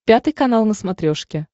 пятый канал на смотрешке